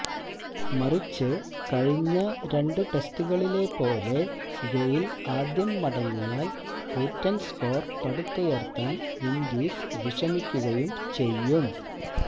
മറിച്ച് കഴിഞ്ഞ രണ്ട് ടെസ്റ്റുകളിലെപ്പോലെ ഗെയില് ആദ്യം മടങ്ങിയാല് കൂറ്റന് സ്കോര് പടുത്തുയര്ത്താന് വിന്ഡീസ് വിഷമിക്കുകയും ചെയ്യും